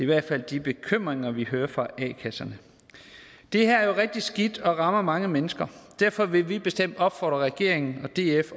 hvert fald de bekymringer vi hører fra a kasserne det her er jo rigtig skidt og rammer mange mennesker derfor vil vi bestemt opfordre regeringen og df